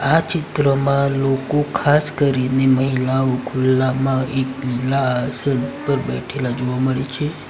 આ ચિત્રમાં લોકો ખાસ કરીને મહિલાઓ ખુલ્લામાં એક લીલા આસન પર બેઠેલા જોવા મળે છે.